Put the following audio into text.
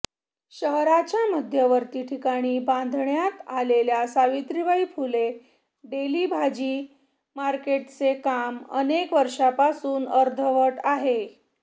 शहराच्या मध्यवर्ती ठिकाणी बांधण्यात आलेल्या सावित्रीबाई फुले डेली भाजी मार्केटचे काम अनेक वर्षांपासून अर्धवट आहे